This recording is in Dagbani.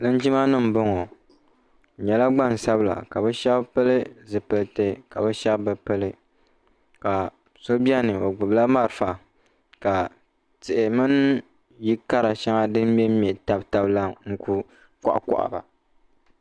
Linjimanima m-bɔŋɔ bɛ nyɛla gbansabila ka bɛ shɛba pili zipiliti ka bɛ shɛba bi pili ka so beni o gbubila marafa ka tihi mini yili kara shɛŋa din me m-me tam taba la kuli kɔɣikɔɣi ba.